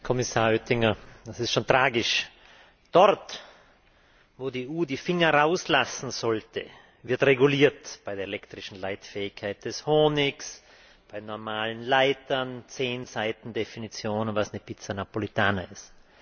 Herr Kommissar Oettinger, es ist schon tragisch Dort, wo die EU die Finger rauslassen sollte, wird reguliert bei der elektrischen Leitfähigkeit des Honigs, bei normalen Leitern, zehn Seiten Definition, was eine Pizza Napolitana ist.